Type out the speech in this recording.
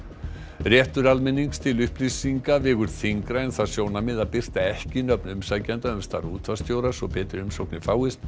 réttur almennings til upplýsinga vegur þyngra en það sjónarmið að birta ekki nöfn umsækjenda um starf útvarpsstjóra svo betri umsóknir fáist